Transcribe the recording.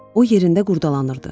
O yerində qurdalanırdı.